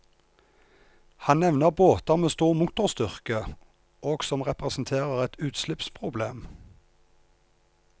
Han nevner båter med stor motorstyrke og som representerer et utslippsproblem.